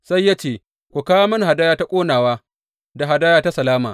Sai ya ce, Ku kawo mini hadaya ta ƙonawa da hadaya ta salama.